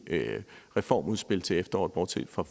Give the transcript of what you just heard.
reformudspil til efteråret bortset fra